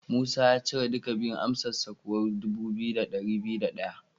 Musa ya cire duka biyun, amsarsa kuwa dubu biyu da dari biyu da daya.